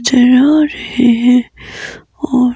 चला रहे हैं और।